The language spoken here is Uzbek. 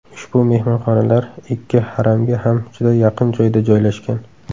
Ushbu mehmonxonalar ikki Haramga ham juda yaqin joyda joylashgan.